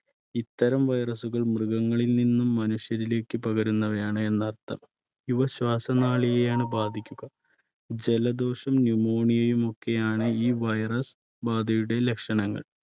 ഇത്തരം virus കൾ മൃഗങ്ങളിൽ നിന്നും മനുഷ്യരിലേക്ക് പകരുന്നവയാണ് എന്നർത്ഥം. ഇവ ശ്വാസനാളിയെയാണ് ബാധിക്കുക ജലദോഷവും Pneumonia യും ഒക്കെയാണ് ഈ virus ബാധയുടെ ലക്ഷണങ്ങൾ.